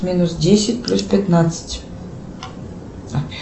минус десять плюс пятнадцать